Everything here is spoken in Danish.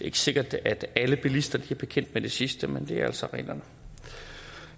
ikke sikkert at alle bilister er bekendt med det sidste men det er altså reglerne